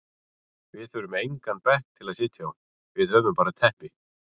Við þurfum engan bekk til að sitja á, við höfum bara teppi.